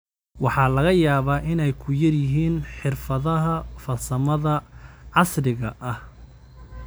Waxaa laga yaabaa inay ku yar yihiin xirfadaha farsamada casriga ah.